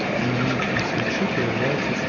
пятиминутный свичи появляется